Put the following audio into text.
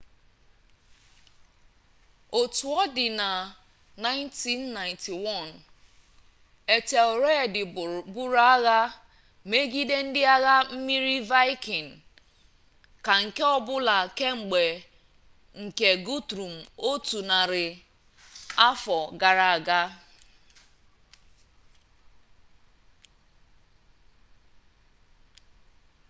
otu ọ dịna na 991 etelred buru agha megide ndị agha mmiri vaịkịn ka nke ọbụla kemgbe nke gutrum otu narị afọ gara aga